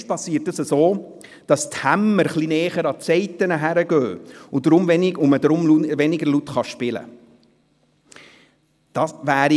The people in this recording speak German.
Technisch geschieht dies dadurch, dass die Hämmer ein wenig näher an die Saiten kommen und man so etwas weniger laut spielen kann.